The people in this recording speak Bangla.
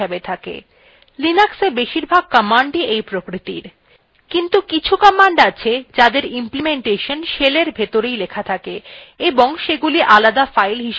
linuxএ বেশীরভাগ commandsis এই প্রকৃতির কিন্তু কিছু commands আছে যাদের implementation shellএর ভিতরেই লেখা থাকে এবং সেগুলি আলাদা files হিসেবে থাকে না